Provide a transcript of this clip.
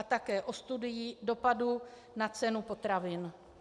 A také o studii dopadu na cenu potravin.